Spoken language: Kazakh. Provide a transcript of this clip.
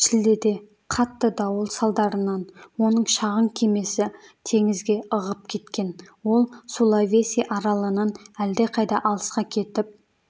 шілдеде қатты дауыл салдарынан оның шағын кемесі теңізге ығып кеткен ол сулавеси аралынан әлдеқайда алысқа кетіп